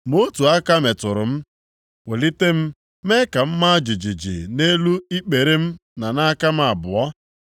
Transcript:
Ma otu aka metụrụ m, welite m mee ka m maa jijiji nʼelu ikpere m na aka m abụọ.